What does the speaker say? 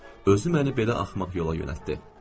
Özü məni belə axmaq yola yönəltdi.